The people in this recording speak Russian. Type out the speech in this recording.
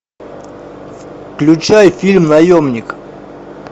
включай фильм наемник